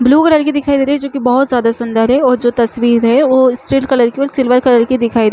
blue colour की दिखाई दे रही है जो की बहुत ज्यादा सुंदर है और जो तस्वीर है ओ स्लेट कलर की और सिल्वर कलर की दिखाई--